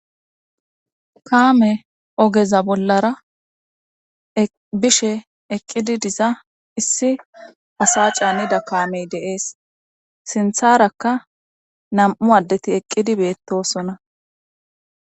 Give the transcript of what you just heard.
kaame ogeza bollara bishe eqqidi diza issi asa canida kaamey dee'es sintharakka nam'u addeti eqqidi beettosona